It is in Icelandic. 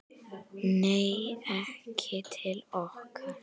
Nei, ekki til okkar